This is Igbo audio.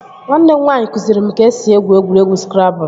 Nwanne m nwaanyị kụziri m ka e si egwu egwuregwu skrabụl